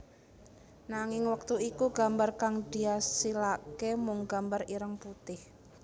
Nanging wektu iku gambar kang diasilake mung gambar ireng putih